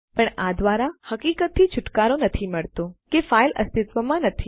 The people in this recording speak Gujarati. પણ આ દ્વારા હકીકતથી છુટકારો નથી મળતો કે ફાઈલ અસ્તિત્વમાં નથી